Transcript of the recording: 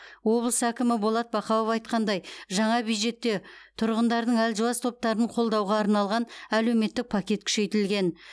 облыс әкімі болат бақауов айтқандай жаңа бюджетте тұрғындардың әлжуаз топтарын қолдауға арналған әлеуметтік пакет күшейтілген